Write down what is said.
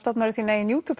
þína eigin